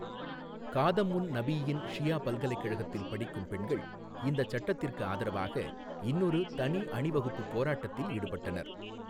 காதமுன் நபிய்யீன் ஷியா பல்கலைக்கழகத்தில் படிக்கும் பெண்கள் இந்தச் சட்டத்திற்கு ஆதரவாக இன்னொரு தனி அணிவகுப்புப் போராட்டத்தில் ஈடுபட்டனர்.